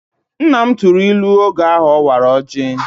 Nna m tụrụ ilu oge ọ wara ọjị